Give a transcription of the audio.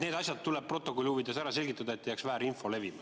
Need asjad tuleb protokolli huvides ära selgitada, et ei jääks väärinfo levima.